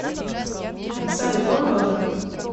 салют он тоже